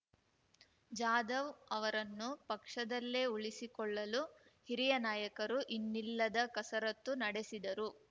ಜಾಧವ್ ಅವರನ್ನು ಪಕ್ಷದಲ್ಲೇ ಉಳಿಸಿಕೊಳ್ಳಲು ಹಿರಿಯ ನಾಯಕರು ಇನ್ನಿಲ್ಲದ ಕಸರತ್ತು ನಡೆಸಿದರು